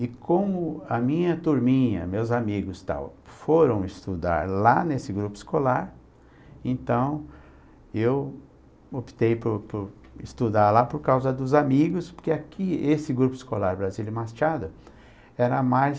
E como a minha turminha, meus amigos e tal, foram estudar lá nesse grupo escolar, então eu optei por por estudar lá por causa dos amigos, porque aqui esse grupo escolar Brasília e Machado era mais...